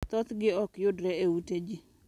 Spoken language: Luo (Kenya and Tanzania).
Thothgi ok yudre e ute ji.